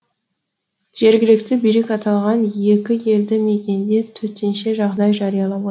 жергілікті билік аталған екі елді мекенде төтенше жағдай жариялап отыр